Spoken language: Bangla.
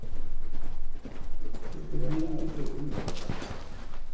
ঋণটা তো ওইটা তো আসল সমস্যা।